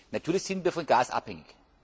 Natürlich sind wir von Gas abhängig.